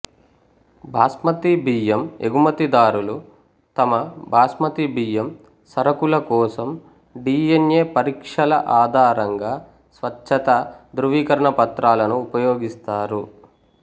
బాస్మతి బియ్యం ఎగుమతిదారులు తమ బాస్మతి బియ్యం సరుకుల కోసం డిఎన్ఎ పరీక్షల ఆధారంగా స్వచ్ఛత ధృవీకరణ పత్రాలను ఉపయోగిస్తారు